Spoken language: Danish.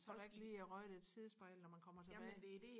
så er der ikke lige røget et sidespejl når man kommer tilbage